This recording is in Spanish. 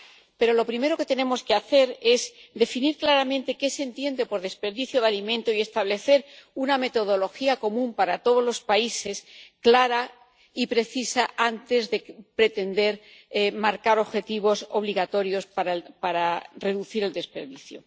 Pero lo primero que tenemos que hacer es definir claramente qué se entiende por desperdicio de alimentos y establecer una metodología común para todos los países, clara y precisa, antes de pretender marcar objetivos obligatorios para reducir el desperdicio.